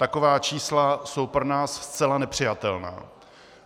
Taková čísla jsou pro nás zcela nepřijatelná.